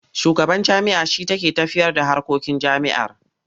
Shugaban jami'a shi take tafiyarda harkokin jami'ar.